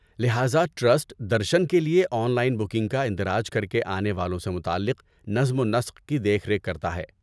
لہذا ٹرسٹ درشن کے لئے آن لائن بکنگ کا اندراج کر کے آنے والوں سے متعلق نظم و نسق کی دیکھ ریکھ کرتا ہے۔